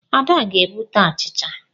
Ada ga-ebute achicha.